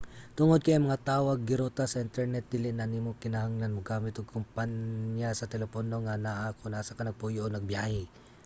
tungod kay ang mga tawag giruta sa internet dili na nimo kinahanglang mogamit ug kompanya sa telepono nga anaa kon asa ka nagpuyo o nagbiyahe